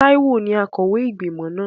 Táíwò ní akọ̀wé ìgbìmọ̀ náà